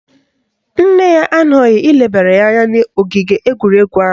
Nne ya anọghị ilebara ya anya n'ogige egwuregwu ahụ.